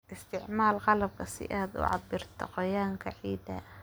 Isticmaal qalabka si aad u cabbirto qoyaanka ciidda.